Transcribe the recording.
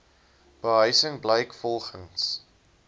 behuising blyk volgens